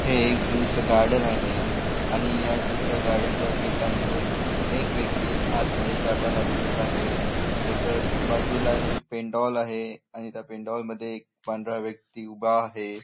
हे एक झु च गार्डन आहे आणि या झु च्या गार्डन च्या गेट मधून एक व्यक्ती आतमध्ये जाताना दिसत आहे तसंच बाजूला एक पेंडॉल आहे आणि त्या पेंडॉल मध्ये एक व्यक्ती उभा आहे.